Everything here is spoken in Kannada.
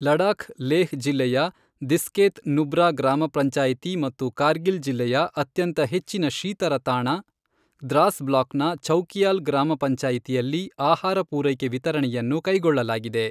ಲಡಾಖ್ ಲೇಹ್ ಜಿಲ್ಲೆಯ ದಿಸ್ಕೇತ್ ನುಬ್ರಾ ಗ್ರಾಮ ಪಂಚಾಯಿತಿ ಮತ್ತು ಕಾರ್ಗಿಲ್ ಜಿಲ್ಲೆಯ ಅತ್ಯಂತ ಹೆಚ್ಚಿನ ಶೀತರ ತಾಣ ದ್ರಾಸ್ ಬ್ಲಾಕ್ ನ ಛೌಕಿಯಾಲ್ ಗ್ರಾಮ ಪಂಚಾಯಿತಿಯಲ್ಲಿ ಆಹಾರ ಪೂರೈಕೆ ವಿತರಣೆಯನ್ನು ಕೈಗೊಳ್ಳಲಾಗಿದೆ.